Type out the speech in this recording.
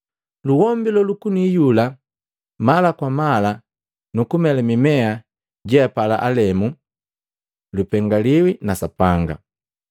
Luhombi lolukuni iyula mala kwa mala nu kumela mimea jeapala alemu lupengaliwi na Sapanga.